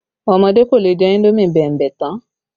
Ọmọdé kò lè jẹ indomi bẹ̀mbẹ̀ tán